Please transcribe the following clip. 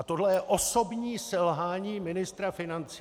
A tohle je osobní selhání ministra financí!